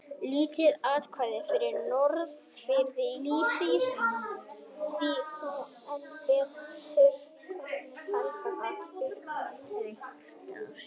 Lítið atvik frá Norðfirði lýsir því þó enn betur hvernig Helgi gat upptendrast.